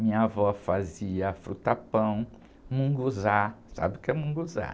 Minha avó fazia fruta-pão, mungunzá, sabe o que é mungunzá?